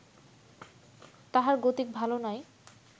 তাহার গতিক ভালো নয়